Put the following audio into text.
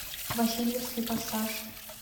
васильевский пассаж